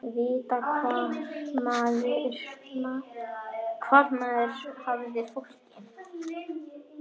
Vita hvar maður hafði fólk.